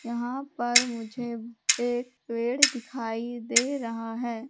यहां पर मुझे एक पेड़ दिखाई दे रहा है।